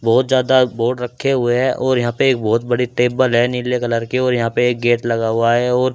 बहुत ज्यादा बोर्ड रखे हुए हैं और यहां पे एक बहुत बड़ी टेबल है नीले कलर के और यहां पे एक गेट लगा हुआ है और --